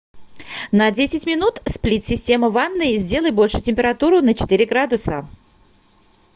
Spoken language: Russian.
на десять минут сплит система в ванной сделай больше температуру на четыре градуса